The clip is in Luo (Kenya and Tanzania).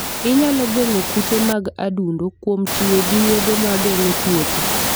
Inyalo geng'o kute mag adundo kuom tiyo gi yedhe ma geng'o tuoche.